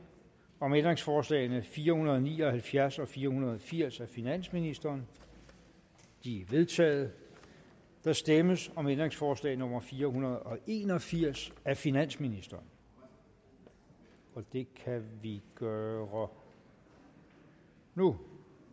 om ændringsforslag nummer fire hundrede og ni og halvfjerds og fire hundrede og firs af finansministeren de er vedtaget der stemmes om ændringsforslag nummer fire hundrede og en og firs af finansministeren og det kan vi gøre nu